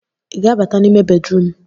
ị ga-abata n'ime bedrum?